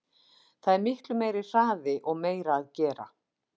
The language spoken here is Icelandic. Það er miklu meiri hraði og meira að gera.